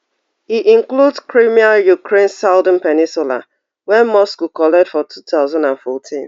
e include crimea ukraine southern peninsula wey moscow collect for two thousand and fourteen